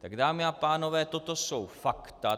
Tak, dámy a pánové, toto jsou fakta.